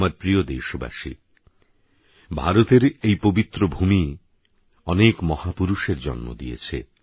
আমার প্রিয় দেশবাসী ভারতের এই পবিত্রভূমি অনেক মহাপুরুষের জন্ম দিয়েছে